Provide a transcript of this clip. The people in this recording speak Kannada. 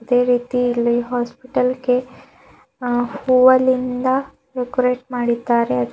ಅದೇ ರೀತಿ ಇಲ್ಲಿ ಹಾಸ್ಪಿಟಲ್ಗೆ ಅ ಹೂವಲಿಂದ ಡೆಕೋರೇಟ್ ಮಾಡಿದ್ದಾರೆ.